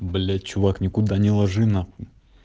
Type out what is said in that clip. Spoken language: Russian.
блять чувак никуда не ложи на хуй